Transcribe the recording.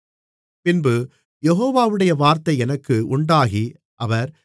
பின்பு யெகோவாவுடைய வார்த்தை எனக்கு உண்டாகி அவர்